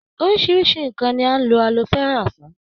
Oríṣiríṣi ǹǹkan ni à ń lo alo fẹ́rà fún.